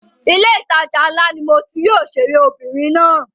Ilé ìtajà ńlá ni mo ti rí òṣèré obìnrin náà.